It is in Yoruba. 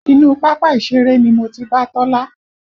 Inú pápá ìṣeré ni mo ti bá Tọ́lá